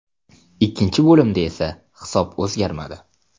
Ikkinchi bo‘limda esa hisob o‘zgarmadi.